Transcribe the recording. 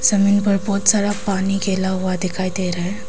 जमीन पर बहुत सारा पानी गिला हुआ दिखाई दे रहा है।